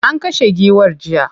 An kashe giwar jiya.